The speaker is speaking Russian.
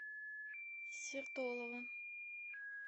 сертолово